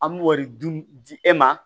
An b'o de dun di e ma